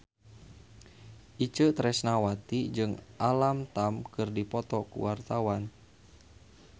Itje Tresnawati jeung Alam Tam keur dipoto ku wartawan